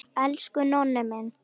Elsku Nonni minn.